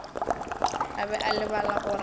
a be a lebala gore